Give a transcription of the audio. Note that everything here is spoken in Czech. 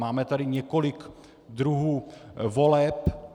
Máme tady několik druhů voleb.